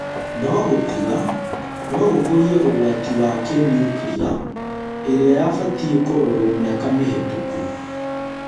No gũtiga nogũkũrie ũgwati wa kĩ-niukria ĩrĩa yabatiĩ kũrorwo mĩaka mĩhetũku